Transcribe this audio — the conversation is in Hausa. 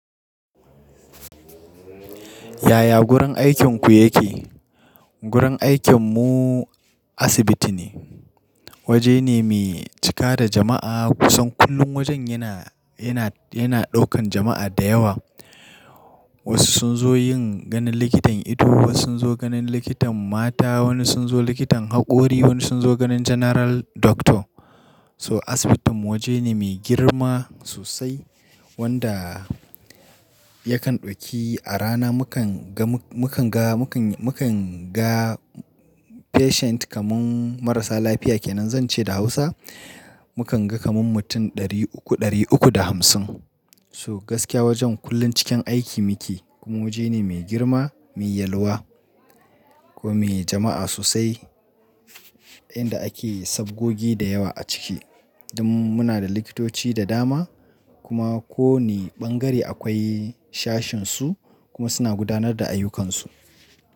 Yaya gurin aikin ku yake? Gurin aikin mu asibiti ne. Waje ne me cika da jama'a kusan kullum wajen yana, yana, yana ɗaukan jama'a da yawa Wasu sun zo yin ganin likitan ido, wasu sun zo ganin likitan mata, wani sun zo likitan haƙori, wani sun zo ganin General Doctor. So asibitin waje ne me girma sosai wanda yakan ɗauki a rana mu kan ga, mu kan ga, mu kan, mu kan ga patient kamar marasa lafiya kenan Zan ce da Hausa mu kan ga kamar mutum ɗari uku, ɗari uku da hamsin So gaskiya wajen kullum cikin aiki muke kuma waje ne me girma, me yalwa ko me jama'a sosai inda ake sabgogi da yawa a ciki Dan muna da likitoci da dama kuma ko wane ɓangare akwai shashinsu kuma suna gudanar da ayyukansu.